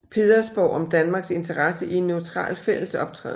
Pedersborg om Danmarks interesse i en neutral fællesoptræden